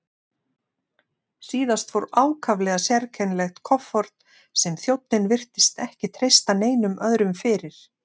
Síðast fór ákaflega sérkennilegt kofort sem þjónninn virtist ekki treysta neinum öðrum fyrir.